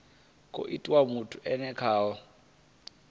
khou itiwa muthu e khaho